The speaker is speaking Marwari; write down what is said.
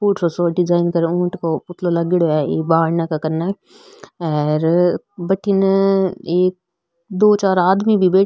फुटरो सो डिजाईन ऊट को पुतलो लागेंडो है ई बाने कने और बठीने एक दो चार आदमी भी बै --